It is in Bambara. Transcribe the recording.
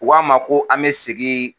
U K'an ma ko an bɛ segin